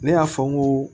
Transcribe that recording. Ne y'a fɔ n ko